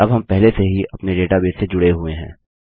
अब हम पहले से ही अपने डेटाबेस से जुड़े हुए हैं